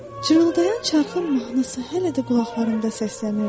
Cırıldayan çarxın mahnısı hələ də qulaqlarımda səslənirdi.